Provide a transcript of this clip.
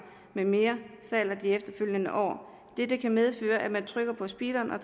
med mere falder de efterfølgende år dette kan medføre at man først trykker på speederen og